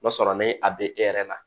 N'a sɔrɔ ni a bɛ e yɛrɛ la